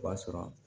O b'a sɔrɔ